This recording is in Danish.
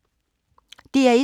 DR1